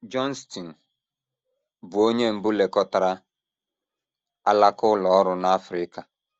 Johnston, bụ́ onye mbụ lekọtara alaka ụlọ ọrụ n’Africa.